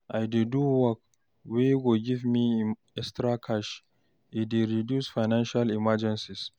I dey do work wey go give me extra cash, e dey reduce financial emergency